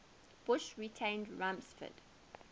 bush retained rumsfeld